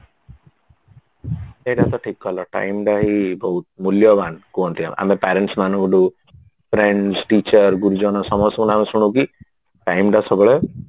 ସେଇଟା ତ ଠିକ କଲ time by ବହୁତ ମୁଲ୍ୟବାନ କୁହନ୍ତି ଆମେ ଆମେ parents ମାନଙ୍କ ଠୁ friends teacher ଗୁରୁଜନ ସମସ୍ତଙ୍କଠୁ ଆମେ ଶୁଣୁ କି time ଟା ସବୁବେଳେ